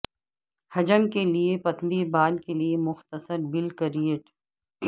حجم کے لئے پتلی بال کے لئے مختصر بالکریٹ